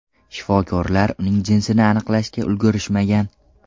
Shifokorlar uning jinsini aniqlashga ulgurishmagan.